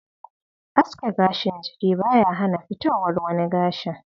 Aske gashin jiki ba ya hana fitowar wani gashin.